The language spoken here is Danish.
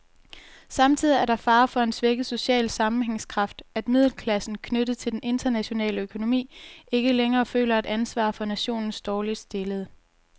Samtidig er der fare for en svækket social sammenhængskraft, at middelklassen, knyttet til den internationale økonomi, ikke længere føler et ansvar for nationens dårligt stillede.